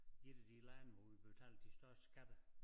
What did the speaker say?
1 af de lande hvor vi betaler de største skatter